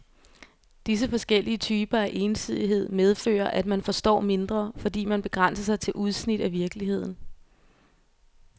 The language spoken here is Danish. Disse forskellige typer af ensidighed medfører, at man forstår mindre, fordi man begrænser sig til udsnit af virkeligheden.